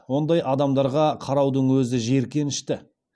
ондай адамдарға қараудың өзі жиіркенішті